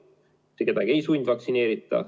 Mitte kedagi ei sundvaktsineerita.